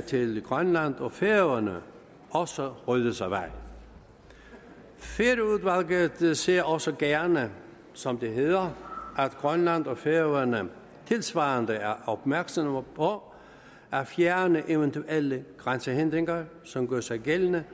til grønland og færøerne også ryddes af vejen færøudvalget ser også gerne som det hedder at grønland og færøerne tilsvarende er opmærksomme på at fjerne eventuelle grænsehindringer som gør sig gældende